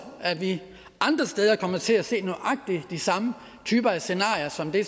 at vi andre steder kommer til at se nøjagtig de samme typer af scenarier som det